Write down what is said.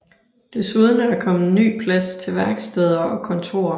Desuden er der kommet ny plads til værksteder og kontorer